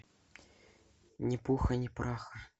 ни пуха ни праха